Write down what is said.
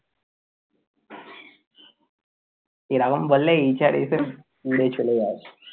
এরকম বললে HR এসে উড়ে চলে যাবে।